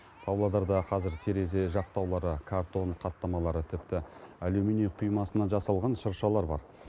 павлодарда қазір терезе жақтаулары картон қаттамалары тіпті алюминий құймасынан жасалған шыршалар бар